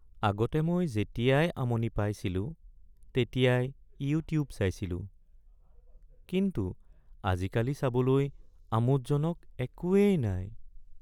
আগতে মই যেতিয়াই আমনি পাইছিলো তেতিয়াই ইউটিউব চাইছিলো। কিন্তু আজিকালি চাবলৈ আমোদজনক একোৱেই নাই।